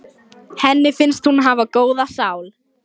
Ingifinna, viltu hoppa með mér?